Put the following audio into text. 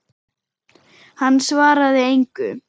Hann svaraði engu.